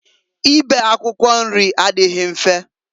Ibe akwụkwọ nri adịghị mfe.